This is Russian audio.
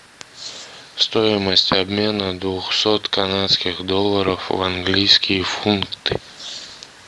стоимость обмена двухсот канадских долларов в английские фунты